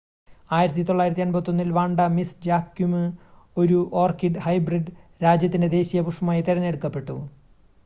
1981-ൽ Vanda Miss Joaquim ഒരു orchid hybrid രാജ്യത്തിൻ്റെ ദേശീയ പുഷ്‌പമായി തിരഞ്ഞെടുക്കപ്പെട്ടു